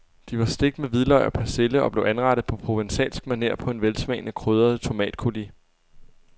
De var stegt med hvidløg og persille og blev anrettet på provencalsk maner på en velsmagende krydret tomatcoulis.